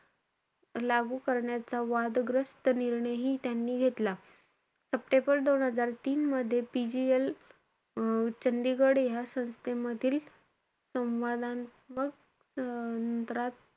लागू करण्याचा वादग्रस्त निर्णयही त्यांनी घेतला. सप्टेंबर दोन हजार तीन मध्ये PGL अं चंदिगढ या संस्थेमधील सवांदात्मक सदरात,